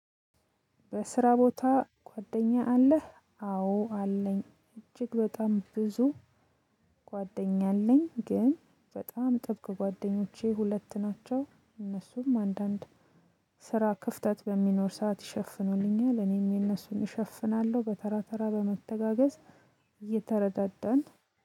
በስራ ቦታ ጓደኛ አለህ አዎ አለኝ እጅግ በጣም ብዙ። ጓደኛ አለኝ ግን በጣም ጥብቅ ጓደኞቼ ሁለት ናቸው። እነሱም አንዳንድ ስራ ክፍተት በሚኖር ሰዓት ይሸፍኑልኛል እኔም የነሱን እሸፍናለሁ በተራ ተራ በመተጋገዝ። እየተረዳደን